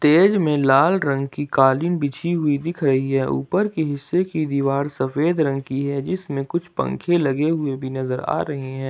तेल में लाल रंग की कालीन बिछी हुई दिख रही है ऊपर की हिस्से की दीवार सफेद रंग की है जिसमें कुछ पंखे लगे हुए भी नजर आ रहे हैं।